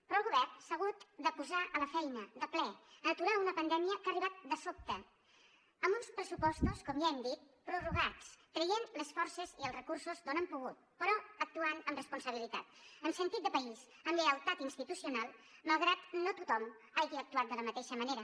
però el govern s’ha hagut de posar a la feina de ple a aturar una pandèmia que ha arribat de sobte amb uns pressupostos com ja hem dit prorrogats traient les forces i els recursos d’on hem pogut però actuant amb responsabilitat amb sentit de país amb lleialtat institucional malgrat no tothom hagi actuat de la mateixa manera